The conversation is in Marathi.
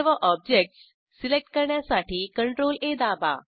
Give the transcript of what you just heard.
सर्व ऑब्जेक्टस सिलेक्ट करण्यासाठी CTRL A दाबा